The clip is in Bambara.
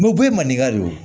u bɛɛ ye maninka de ye